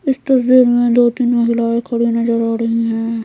इस तस्वीर में दो-तीन महिलाएं खड़ी नजर आ रही है।